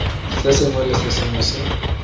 sengwe le se sengwe se